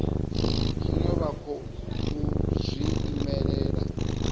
zwine vha khou zwi imelela